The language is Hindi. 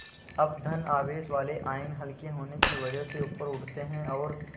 अब धन आवेश वाले आयन हल्के होने की वजह से ऊपर उठते हैं और